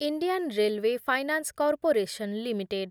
Indian railway finance corporation limited